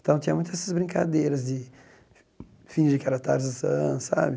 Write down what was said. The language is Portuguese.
Então, tinha muita essas brincadeiras de fingir que era Tarzan, sabe?